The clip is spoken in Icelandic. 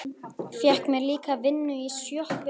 Fékk mér líka vinnu í sjoppu.